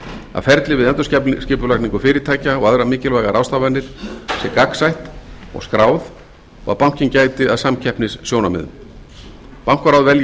að ferli við endurskipulagningu fyrirtækja og aðrar mikilvægar ráðstafanir sé gagnsætt og skráð og bankinn gæti að samkeppnissjónarmiðum bankarnir velji umboðsmann